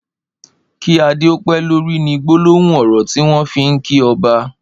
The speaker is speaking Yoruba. ''Ki àdé ó pé lóri'' ni gbólóhùn ọrọ tiwọn fi n kí ọ̀bà